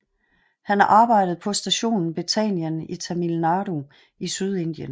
Han arbejdede på stationen Bethanien i Tamil Nadu i Sydindien